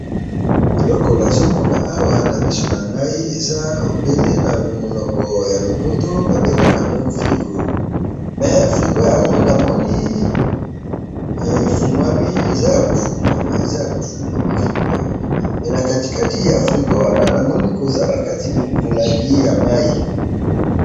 eloko nazomona awa na misu nangai, eza namonoko ya lopoto, babengaka yango frigo, mais frigo yango, namoni efunguami, eza ya kofunguama, eza ya kofunguama frigo yango, mais nakati kati ya frigo wana, namoni que eza nakati molangi ya mayi